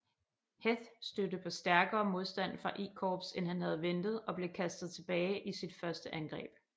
Heth stødte på stærkere modstand fra I Korps end han havde ventet og blev kastet tilbage i sit første angreb